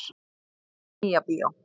Nýja bíó.